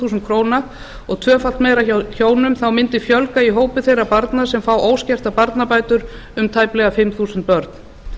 þúsund krónur og tvöfalt meira hjá hjónum mundi fjölga í hópi þeirra barna sem fá óskertar barnabætur um tæplega fimm þúsund börn